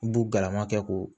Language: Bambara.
U b'u galama kɛ k'o